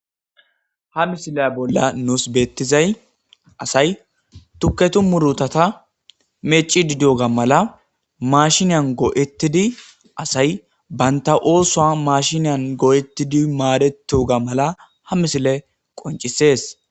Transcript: Ha .misila nus betizay asay tuketu murutata mecidi diyoga mala mashiniyan go'etidi asy bant oswa mashinan go'etidi madeteto ga mala ha misiley qoncises